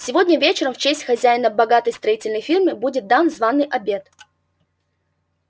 сегодня вечером в честь хозяина богатой строительной фирмы будет дан званый обед